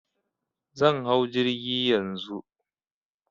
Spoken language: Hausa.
Zan hau jirgi Yanzu.